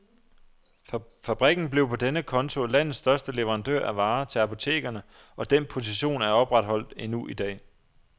Fabrikken blev på den konto landets største leverandør af varer til apotekerne, og den position er opretholdt endnu i dag.